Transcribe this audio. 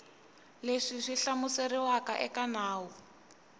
leswi swi hlamuseriwaka eka nawu